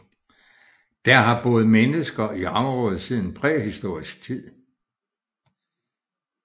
Der har boet mennesker i området siden præhistorisk tid